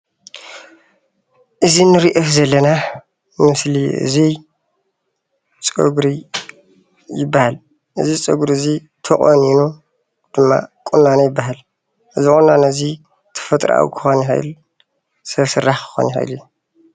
እዚ እንሪኦ ዘለና ምስሊ እዚይ ፀጉሪ ይበሃል። እዚ ፀጉሪ እዙይ ተቆኒኑ ድማ ቁናኖ ይበሃል። እዚ ቁናኖ ድማ ተፈጥራኣዋ ክኾን ይኽእል ሰብ ስራሕ ክኾን ይኽእል እዩ።